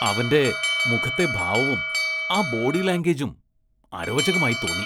അവന്റെ മുഖത്തെ ഭാവവും ആ ബോഡി ലാംഗ്വേജും അരോചകമായി തോന്നി.